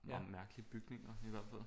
Bare mærkelige bygninger i hvert fald